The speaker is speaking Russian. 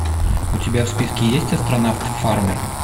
у тебя в списке есть астронавт фармер